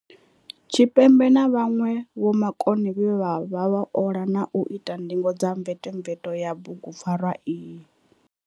Tshipembe na vhanwe vhomakone vhe vha ola na u ita ndingo dza mvetomveto ya bugu pfarwa iyi.